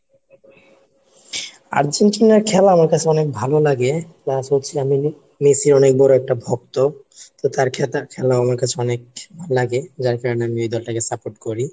আর্জেন্টিনার খেলা আমার কাছে অনেক ভালো লাগে plus হচ্ছে মেসি অনেক বড় একটা ভক্ত তো তার খেতার খেলা আমার কাছে অনেক লাগে যার কারণে আমি এই দলটাকে support করি